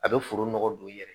A bɛ foro nɔgɔ don i yɛrɛ ye